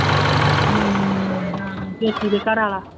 ਹੂੰ ਹਾਂ ਪੇਕੀ ਦੇ ਘਰ ਵਾਲਾ